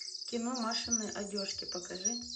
кино машины одежки покажи